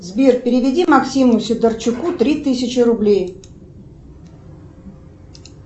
сбер переведи максиму сидорчуку три тысячи рублей